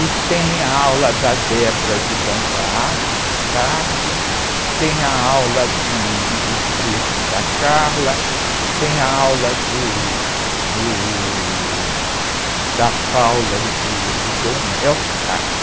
E tem a aula da de dança afro, de tarde, tem a aula de, de frevo da, tem a aula do, do, da e do, ele tem um nome, do.